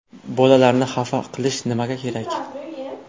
Bolalarni xafa qilish nimaga kerak?